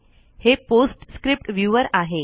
हे PostScript viewer आहे